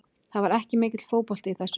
Það var ekki mikill fótbolti í þessu.